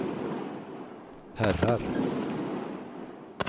herrar